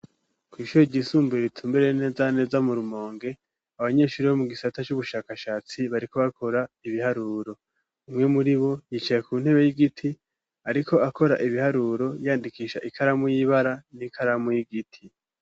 Kw'ishuro gisumbure bitumbere neza neza mu rumonge abanyeshuri bo mu gisata cubushakashatsi bariko bakora ibiharuro umwe muri bo yicaye ku ntebe y'igiti ariko akora ibiharuro yandikisha ikaramu y'ibara n'ikaramu y'igiti.